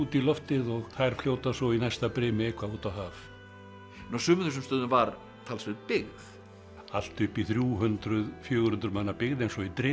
í loftið og þær fljóta svo í næsta brimi eitthvað út á haf nú á sumum þessum stöðum var talsverð byggð allt upp í þrjú hundruð fjögur hundruð manna byggð eins og í